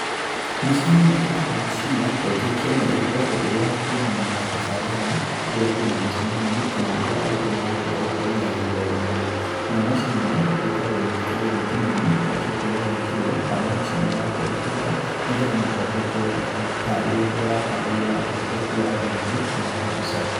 Macini ĩno ĩtagwo macini ya projection, na ĩkoragwo ĩĩ ya kwonania tabarĩra, rĩrĩa kwĩna micemanio, kana hĩndĩria arũtwo marakorwo makĩenda magĩgĩthomithio. Nayo macini ĩno níĩ ĩkoragwo ĩgĩkĩrwo thitimainĩ, ĩgacoka ĩgagĩkĩrwo, harĩ macinini ya computer, nĩgetha mundu agĩgĩkorwo agĩgĩtarĩria kĩrĩa aratarĩrĩa na uhũthĩku wa video kana wa mbica.